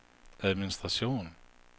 administration